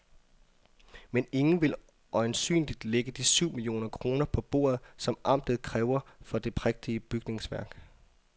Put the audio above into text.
Men ingen vil øjensynligt lægge de syv millioner kroner på bordet, som amtet kræver for det prægtige bygningsværk.